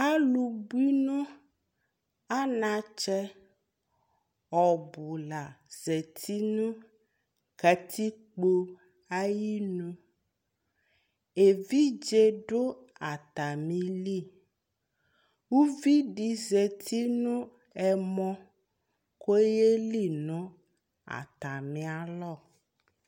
alò bui no anatsɛ ɔbu la zati no katikpo ayinu evidze do atami li uvi di zati no ɛmɔ k'oyeli no atami alɔ